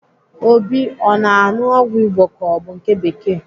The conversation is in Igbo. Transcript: Obi ọ na-aṅụ ọgwụ Igbo ka ọ bụ nke bekee?